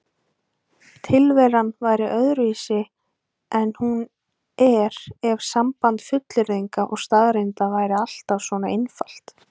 Tilveran væri öðruvísi en hún er ef samband fullyrðinga og staðreynda væri alltaf svona einfalt.